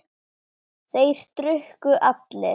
Þeir drukku allir.